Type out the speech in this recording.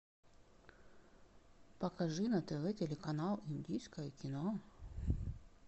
покажи на тв телеканал индийское кино